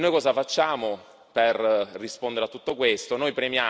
E noi cosa facciamo per rispondere a tutto questo?